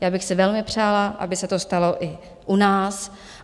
Já bych si velmi přála, aby se to stalo i u nás.